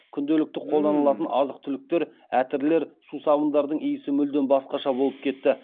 күнделікті қолданылатын азық түліктер әтірлер сусабындардың иісі мүлдем басқаша болып кетті